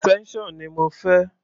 Extension ni mo fẹ́.